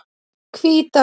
Hvítárdal